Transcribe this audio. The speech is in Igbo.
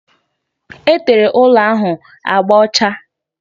Etere ụlọ ahụ agba ọcha